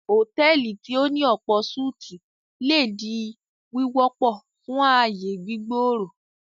Hotẹ́ẹ́lì tí o ní ọ̀pọ̀-súti le di wíwọpọ fun aáyè gbígbòòrò.